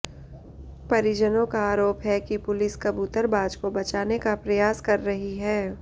परिजनों का आरोप है कि पुलिस कबूतरबाज को बचाने का प्रयास कर रही है